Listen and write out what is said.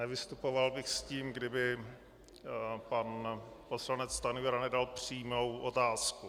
Nevystupoval bych s tím, kdyby pan poslanec Stanjura nedal přímou otázku.